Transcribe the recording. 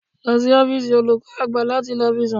Lọ sí ọ́fíìsì olùkọ́ àgbà láti lọ fi sùn